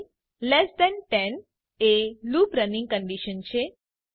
ઇલ્ટ10 એ loop running condition છે